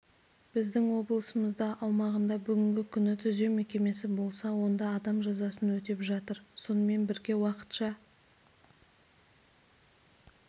біздің облысымыздың аумағында бүгінгі күні түзеу мекемесі болса онда адам жазасын өтеп жатыр сонымен бірге уақытша